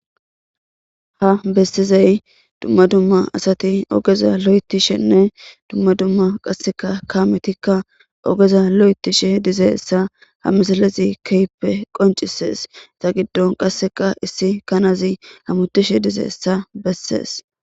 ha bessizay dumma dumma asati ogeza lo7etishenne dumma dumma qasseka kaametikka ogeza lo7etishe dizeessa hamisalezi keyppe qoncisees ta giddon qasseka issi kanazi hamutishe dizeessa bessees